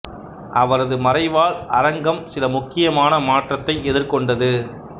அவரது மறைவால் அரங்கம் சில மிக முக்கியமான மாற்றத்தை எதிர் கொண்டது